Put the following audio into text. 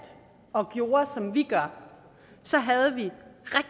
og gjorde som vi gør så ville